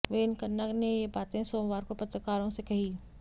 वेनकन्ना ने ये बातें सोमवार को पत्रकारों से कहीं